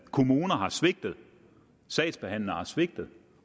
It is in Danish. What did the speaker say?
kommuner har svigtet og sagsbehandlere har svigtet